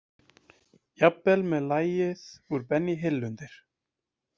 Jafnvel með lagið úr Benny Hill undir.